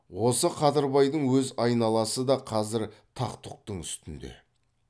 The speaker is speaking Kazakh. осы қадырбайдың өз айналасы да қазір тақ тұқтың үстінде